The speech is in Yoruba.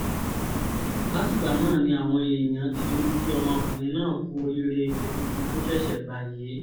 látìgbà náà ni àwọn èèyàn ti ń kí ọmọkùnrin náà kú oríire ipò tuntun tó ṣẹ̀ṣẹ̀ gbà yìí